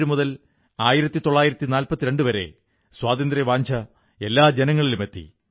18571942 കാലഘട്ടത്തിൽ സ്വാതന്ത്ര്യവാഞ്ഛ എല്ലാ ജനങ്ങളിലുമെത്തി